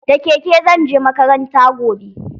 Da keke zan je makaranta gobe.